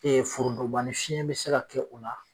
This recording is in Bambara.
forondonbani fiɲɛn bi se ka kɛ o la